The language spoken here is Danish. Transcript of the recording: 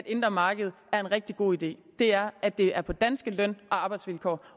indre marked er en rigtig god idé er at det er på danske løn og arbejdsvilkår